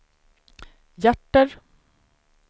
hjärter